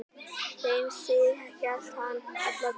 Þeim sið hélt hann alla tíð.